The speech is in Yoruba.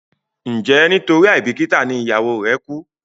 njé nitori aibikita ní ìyàwó re ku?